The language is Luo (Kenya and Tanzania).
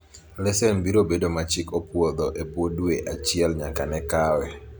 lesen biro bedo ma chik opwodho ebwo dwe achiel nyaka ne kawe